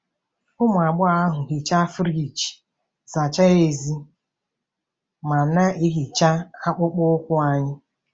Ụmụ agbọghọ ahụ hichaa friji, zachaa èzí, ma na-ehicha akpụkpọ ụkwụ anyị.